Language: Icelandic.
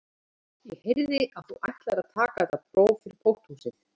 Ég heyrði að þú ætlaðir að taka þetta próf fyrir pósthúsið